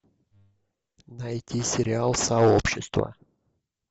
найти сериал сообщество